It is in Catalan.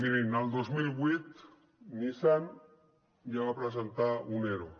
mirin el dos mil vuit nissan ja va presentar un ero